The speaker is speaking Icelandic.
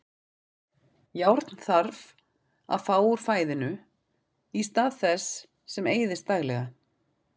Járn þarf að fá úr fæðinu í stað þess sem eyðist daglega.